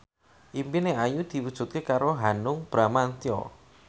impine Ayu diwujudke karo Hanung Bramantyo